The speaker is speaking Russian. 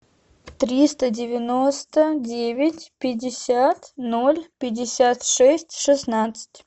триста девяносто девять пятьдесят ноль пятьдесят шесть шестнадцать